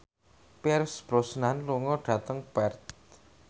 Pierce Brosnan lunga dhateng Perth